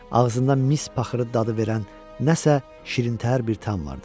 Ağzından mis paxırı dadı verən nəsə şirintəhər bir tam vardı.